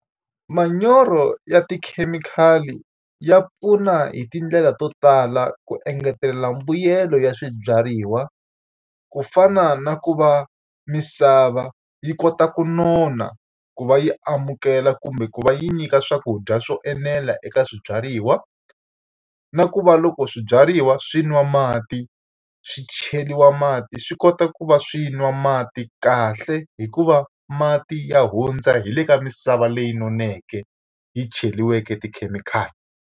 Manyoro ya tikhemikhali ya pfuna hi tindlela to tala ku engetelela mbuyelo ya swibyariwa, ku fana na ku va misava yi kota ku nona ku va yi amukela kumbe ku va yi nyika swakudya swo enela eka swibyariwa. Na ku va loko swibyariwa swi nwa mati swi cheriwa mati swi kota ku va swi nwa mati kahle hikuva mati ya hundza hi le ka misava leyi noneke, yi cheriweke tikhemikhali.